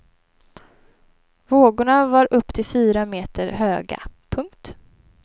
Vågorna var upp till fyra meter höga. punkt